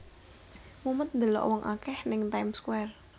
Mumet ndelok wong akeh ning Time Square